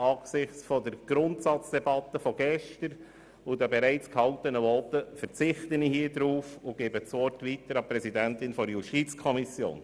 Angesichts der Grundsatzdebatte von gestern und der bereits gehaltenen Voten verzichte ich darauf und gebe das Wort weiter an die Präsidentin der JuKo.